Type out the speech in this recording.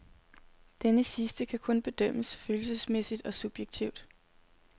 Denne sidste kan kun bedømmes følelsesmæssigt og subjektivt.